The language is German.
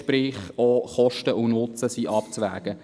Das heisst, Kosten und Nutzen sind abzuwägen.